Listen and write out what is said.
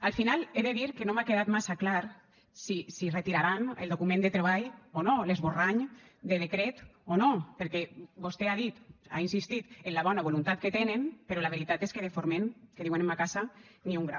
al final he de dir que no m’ha quedat massa clar si retiraran el document de treball o no l’esborrany de decret o no perquè vostè ha dit ha insistit en la bona voluntat que tenen però la veritat és que de forment que diuen en ma casa ni un gra